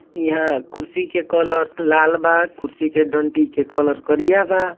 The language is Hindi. यंहा कुर्सी के कलर लाल वा कुर्सी के डानटी के कलर करिया वा।